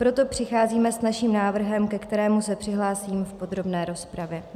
Proto přicházíme s naším návrhem, ke kterému se přihlásím v podrobné rozpravě.